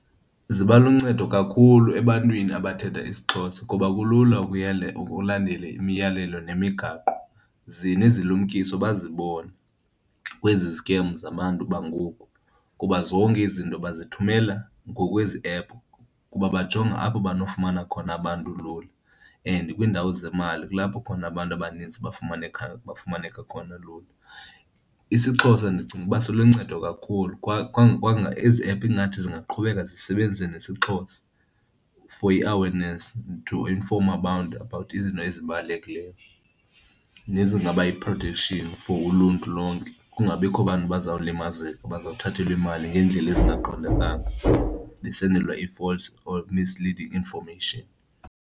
Ziba luncedo kakhulu ebantwini abathetha isiXhosa kuba kulula ukulandela imiyalelo nemigaqo, ze nezilumkiso bazibone kwezi zikems zabantu bangoku. Kuba zonke izinto bazithumela ngokwezi ephu kuba bajonga apho banokufumana khona abantu lula and kwiindawo zemali kulapho khona abantu abanintsi bafumaneka khona lula. IsiXhosa ndicinga uba siluncedo kakhulu ezi ephu ingathi zingaqhubeka zisebenzise nesiXhosa for i-awareness to inform abantu about izinto ezibalulekileyo nezingaba yi-protection for uluntu lonke, kungabikho bantu bazawulimazeka bazawuthathelwe imali ngeendlela ezingaqondakali besenzelwa ii-false misleading information.